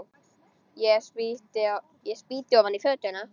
Ég spýti ofan í fötuna.